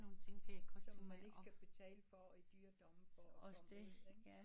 Som man ikke skal betale for i dyre domme for